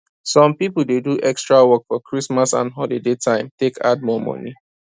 some people dey do extra work for christmas and holiday time take add more money